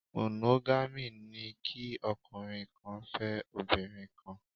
Monogamy' ni kí ọkùnrin kan fẹ́ obìnrin kan